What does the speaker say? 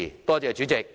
多謝主席。